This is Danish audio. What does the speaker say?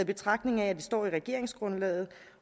betragtning at det står i regeringsgrundlaget